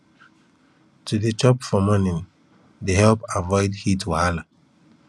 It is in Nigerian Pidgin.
to dey chop for morning they helped avoid heat wahala